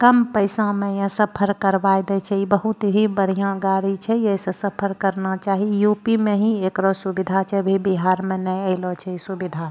कम पैसा में यें सफर करवाय दे छे इ बहुत ही बढ़िया गाड़ी छे ये से सफर करना चाही यू.पी. में ही एकरो सुविधा छे अभी बिहार में नाय अयलो छे सुविधा।